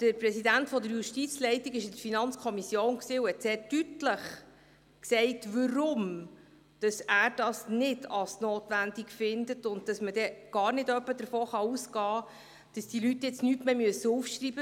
Der Präsident der Justizleitung war in der FiKo und brachte sehr deutlich zum Ausdruck, weshalb er das nicht als notwendig erachtet und dass man nicht etwa davon ausgehen könne, dass die Leute jetzt nichts mehr aufschreiben müssten.